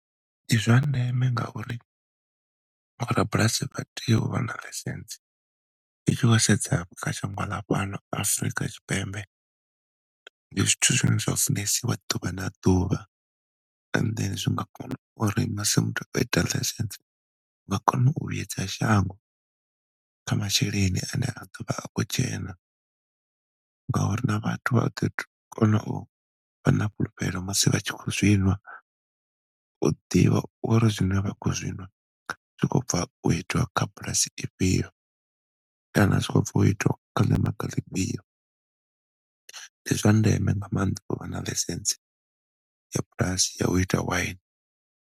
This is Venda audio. Ndi zwa ndeme ngauri vho rabulasi vha tea u vha na ḽaisentsi i tshi khou sedza kha shango ḽa fhano Afurika Tshipembe ndi zwithu zwine zwa sumbedziwa ḓuvha na ḓuvha and then zwi nga kona sa muthu o itaho ḽaisentsi vha kona u vhuedza shango kha masheleni ane a ḓo vha a khou dzhena ngauri na vhathu ḓo kono u vha na fhulufhelo musi vha tshi khou zwi ṅwa u ḓivha uri zwine vha khou zwi ṅwa zwi khou bva u itiwa kha bulasi ifhio kana zwi khou bva u itiwa ḽi fhio. Ndi zwa ndeme nga maanḓa uvha na ḽaisentsi ya bulasi ya uita waini.